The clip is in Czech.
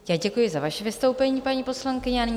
Já děkuji za vaše vystoupení, paní poslankyně.